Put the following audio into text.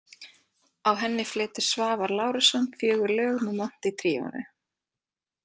Á henni flytur Svavar Lárusson fjögur lög með Monti tríóinu.